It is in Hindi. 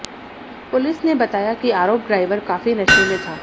पुलिस ने बताया कि आरोप ड्राइवर काफी नशे में था